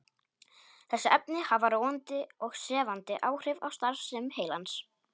Þessi efni hafa róandi og sefandi áhrif á starfsemi heilans.